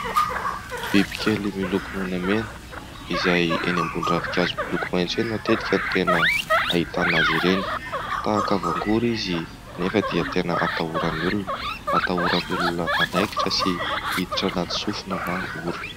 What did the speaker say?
Biby kely miloko menamena izay eny ambony ravin-kazo miloko maitso eny matetika no tena ahitana azy ireny, tahaka voangory izy nefa dia tena atahoran'ny olona, atahoran'ny olona hanaikitra sy hiditra anaty sofina na orona.